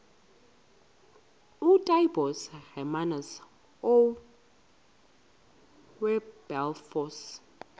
ootaaibos hermanus oowilberforce